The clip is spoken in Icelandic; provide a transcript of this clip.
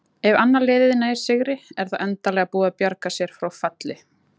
Ef annað liðið nær sigri er það endanlega búið að bjarga sér frá falli.